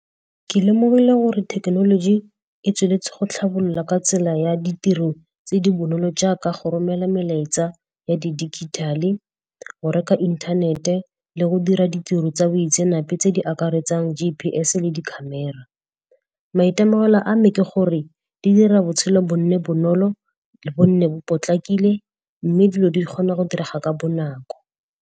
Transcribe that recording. Ke lemogile gore thekenoloji e tsweletse go tlhabolola ka tsela ya ditiro tse di bonolo jaaka go romela melaetsa ya di digital-e, go reka inthanete, le go dira ditiro tsa boitsenape tse di akaretsang G_P_S le di camera. Maitemogelo a me ke gore di dira botshelo bo nne bonolo, bo nne bo potlakile mme dilo di kgona go direga ka bonako.